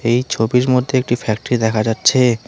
এই ছবির মধ্যে একটি ফ্যাক্টারি দেখা যাচ্ছে।